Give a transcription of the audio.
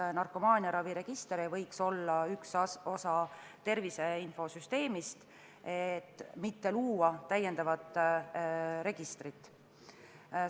Kas narkomaaniaraviregister ei võiks olla üks osa tervise infosüsteemist, selleks et mitte luua täiendavat registrit?